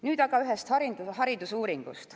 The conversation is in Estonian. Nüüd aga ühest haridusuuringust.